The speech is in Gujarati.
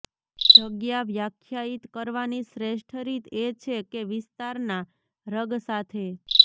જગ્યા વ્યાખ્યાયિત કરવાની શ્રેષ્ઠ રીત એ છે કે વિસ્તારના રગ સાથે